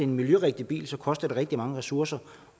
miljørigtig bil koster det rigtig mange ressourcer at